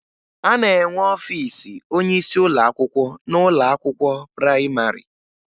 A na-enwe ọfiisi onyeisi ụlọakwụkwọ n'ụlọakwụkwọ prayịmarị